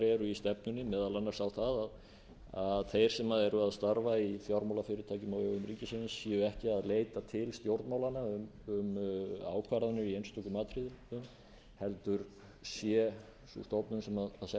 eru í stefnunni meðal annars á það að þeir sem eru að starfa í fjármálafyrirtækjum á vegum ríkisins séu ekki að leita til stjórnmálanna um ákvarðanir í einstökum atriðum heldur starfi sú stofnun sem sett er